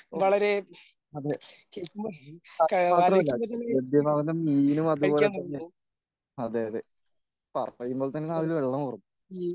ഓ അതെ അതുമാത്രമല്ല ലഭ്യമാകുന്ന മീനും അതുപോലെതന്നെ അതെയാതെ പറയുമ്പോൾ തന്നെ നാവിൽ വെള്ളമൂറും.